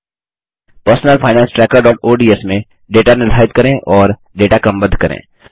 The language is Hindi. personal finance trackerओडीएस में डेटा निर्धारित करें और डेटा क्रमबद्ध करें